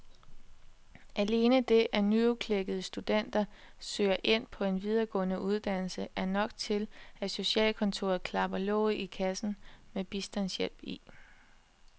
Alene det, at nyudklækkede studenter søger ind på en videregående uddannelse er nok til, at socialkontoret klapper låget til kassen med bistandshjælp i.